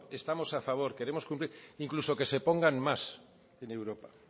estamos a favor queremos cumplir incluso que se pongan más en europa